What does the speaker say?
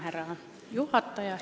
Härra juhataja!